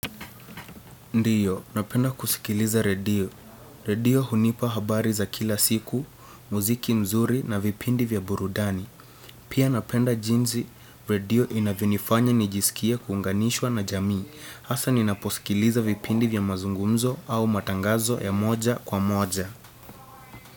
Ndio, napenda kusikiliza redio. Redio hunipa habari za kila siku, muziki mzuri na vipindi vya burudani. Pia napenda jinsi redio inavyonifanya nijisikie kuunganishwa na jamii. Hasa ninaposikiliza vipindi vya mazungumzo au matangazo ya moja kwa moja.